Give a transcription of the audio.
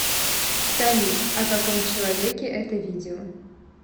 салют о каком человеке это видео